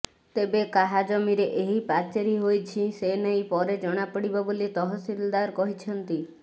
ତେବେ କାହା ଜମିରେ ଏହି ପାଚେରି ହୋଇଛି ସେ ନେଇ ପରେ ଜଣାପଡ଼ିବ ବୋଲି ତହସିଲଦାର କହିଛନ୍ତି